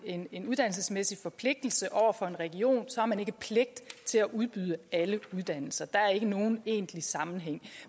en en uddannelsesmæssig forpligtelse over for en region har man ikke pligt til at udbyde alle uddannelser der er ikke nogen egentlig sammenhæng